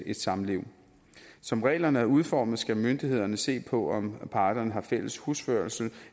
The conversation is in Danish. et samliv som reglerne er udformet skal myndighederne se på om parterne har fælles husførelse